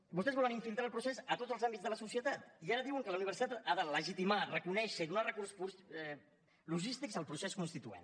vostès volen infiltrar el procés a tots els àmbits de la societat i ara diuen que la universitat ha de legitimar reconèixer i donar recursos logístics al procés constituent